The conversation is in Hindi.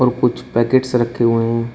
कुछ पैकेट्स रखें हुये है।